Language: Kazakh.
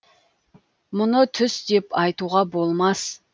мұны түс деп айтуға болмас